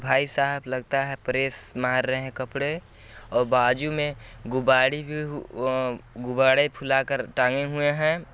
भाईसाहब लगता है प्रेस मार रहे हैं कपडे और बाजू मे गुबाडे भी अ गुबाडे फुला कार टांगे हुए हैं।